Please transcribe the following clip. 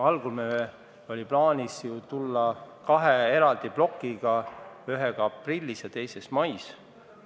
Algul oli meil plaanis välja tulla kahe eraldi plokiga: ühega aprillis ja teisega mais.